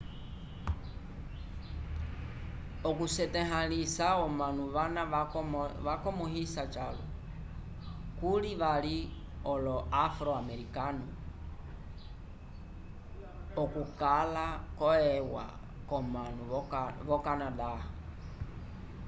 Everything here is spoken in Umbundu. okusetahãlisa omanu vana vakomõhisa calwa kuli vali olo-afro-amerikanu okukala ko eua k'omanu v'okanada